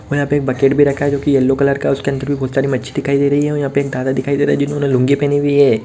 और यहाँ पे एक बकेट भी रखा है जो की येलो कलर का है उसके अंदर भी बहोत सारी मच्छी दिखाई दे रही हैं और यहाँ पे एक दादा दिखाई दे रहा है जिन्होंने लुंगी पहनी हुई है।